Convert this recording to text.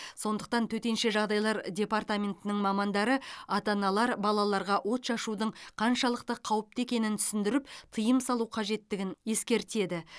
сондықтан төтенше жағдайлар департаментінің мамандары ата аналар балаларға отшашудың қаншалықты қауіпті екенін түсіндіріп тыйым салу қажеттігін ескертеді